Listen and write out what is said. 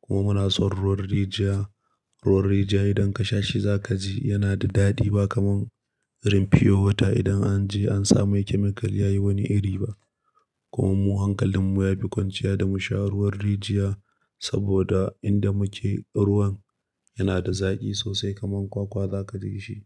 kuma muna son ruwan rijiya. Ruwan rijiya idan ka sha shi za ka ji yana da daɗi ba kamar rim pure wata idan an je an sami chemical ya yi wani iri ba. Kuma mu hankalin mu ya fi kwanciya da mu sha ruwan rijiya saboda inda muke ruwan yana da zaƙi sosai kamar kwakwa za ka ji shi.